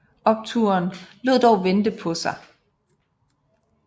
Opturen lod dog vente på sig